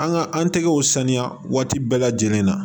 An ka an tɛgɛw saniya waati bɛɛ lajɛlen na